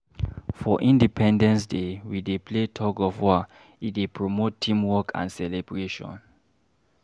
For independence day, we dey play tug-of-war, e dey promote teamwork and celebration.